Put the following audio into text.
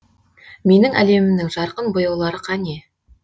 менің әлемімнің жарқын бояулары қане